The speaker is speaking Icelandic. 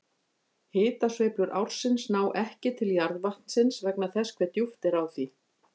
Hitasveiflur ársins ná ekki til jarðvatnsins vegna þess hve djúpt er á því.